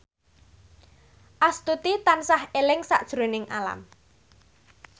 Astuti tansah eling sakjroning Alam